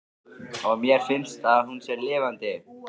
Og mér finnst að hún sé lifandi.